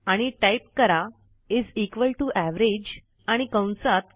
आणि टाईप करा is equal T O average आणि कंसात